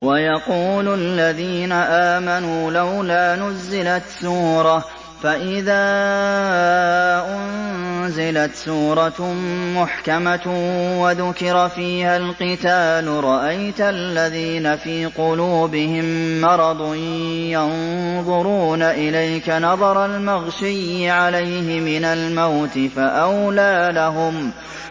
وَيَقُولُ الَّذِينَ آمَنُوا لَوْلَا نُزِّلَتْ سُورَةٌ ۖ فَإِذَا أُنزِلَتْ سُورَةٌ مُّحْكَمَةٌ وَذُكِرَ فِيهَا الْقِتَالُ ۙ رَأَيْتَ الَّذِينَ فِي قُلُوبِهِم مَّرَضٌ يَنظُرُونَ إِلَيْكَ نَظَرَ الْمَغْشِيِّ عَلَيْهِ مِنَ الْمَوْتِ ۖ فَأَوْلَىٰ لَهُمْ